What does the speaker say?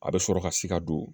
A bɛ sɔrɔ ka si ka don